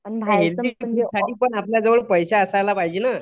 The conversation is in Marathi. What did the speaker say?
पण खाण्यासाठी पण आपल्याजवळ पैसे असायला पाहिजे नं